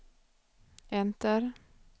enter